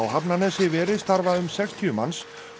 Hafnarnesi veri starfa um sextíu manns